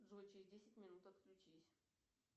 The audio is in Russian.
джой через десять минут отключись